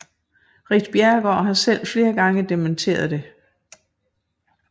Ritt Bjerregaard har selv flere gange dementeret det